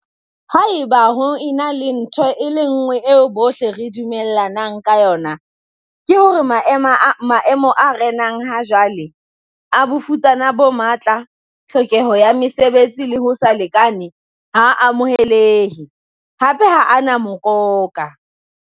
"Haeba ho ena le ntho e le nngwe eo bohle re dumell anang ka yona, ke hore maemo a renang ha jwale - a bofutsana bo matla, tlhokeho ya mesebetsi le ho se lekalekane - ha a amohelehe, hape ha a na mokoka."